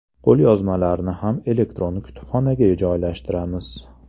Qo‘lyozmalarni ham elektron kutubxonaga joylashtiramiz.